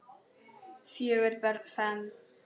Fjögur börn fermd.